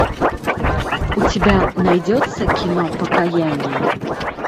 у тебя найдется кино покаяние